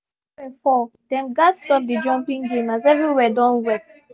as small rain fall dem gats stop the jumping game as every where don wet